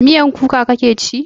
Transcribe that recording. Miyan kuka kake ci?